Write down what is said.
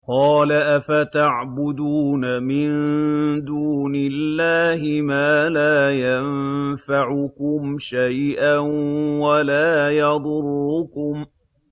قَالَ أَفَتَعْبُدُونَ مِن دُونِ اللَّهِ مَا لَا يَنفَعُكُمْ شَيْئًا وَلَا يَضُرُّكُمْ